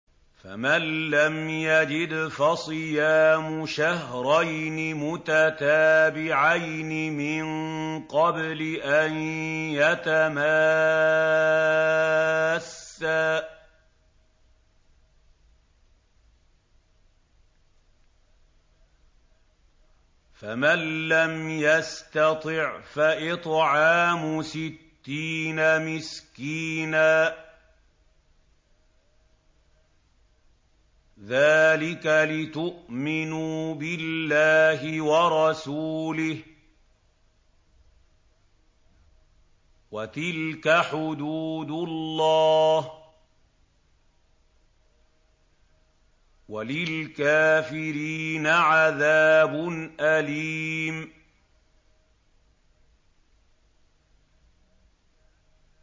فَمَن لَّمْ يَجِدْ فَصِيَامُ شَهْرَيْنِ مُتَتَابِعَيْنِ مِن قَبْلِ أَن يَتَمَاسَّا ۖ فَمَن لَّمْ يَسْتَطِعْ فَإِطْعَامُ سِتِّينَ مِسْكِينًا ۚ ذَٰلِكَ لِتُؤْمِنُوا بِاللَّهِ وَرَسُولِهِ ۚ وَتِلْكَ حُدُودُ اللَّهِ ۗ وَلِلْكَافِرِينَ عَذَابٌ أَلِيمٌ